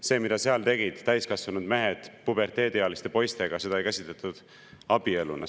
Seda, mida seal tegid täiskasvanud mehed puberteediealiste poistega, ei käsitletud abieluna.